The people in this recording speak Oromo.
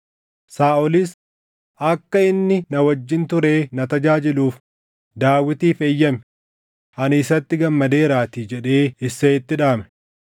Saaʼolis, “Akka inni na wajjin turee na tajaajiluuf Daawitiif eeyyami; ani isatti gammadeeraatii” jedhee Isseeyitti dhaame.